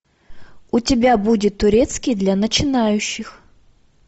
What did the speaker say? у тебя будет турецкий для начинающих